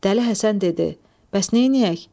Dəli Həsən dedi: "Bəs neyləyək?"